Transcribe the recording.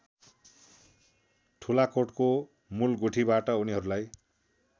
ठुलाकोटको मूलगुठीबाट उनीहरूलाई